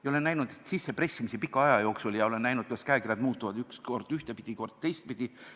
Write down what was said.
Ma olen näinud neid sissepressimisi pika aja jooksul ja olen näinud, kuidas käekirjad muutuvad kord ühtpidi, kord teistpidi.